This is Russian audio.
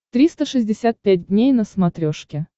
триста шестьдесят пять дней на смотрешке